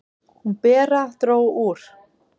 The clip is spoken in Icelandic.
"""Hún, Bera, dró úr."""